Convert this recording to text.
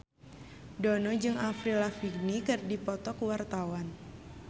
Dono jeung Avril Lavigne keur dipoto ku wartawan